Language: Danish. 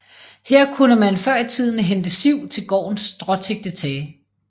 Her kunne man før i tiden hente siv til gårdenes stråtækte tage